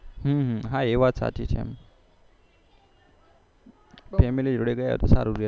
હા એ વાત સાચી છે family જોડે ગ્યા તો સારું રે એમ